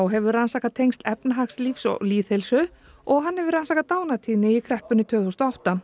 hefur rannsakað tengsl efnahagslífs og lýðheilsu og hann hefur rannsakað dánartíðni í kreppunni tvö þúsund og átta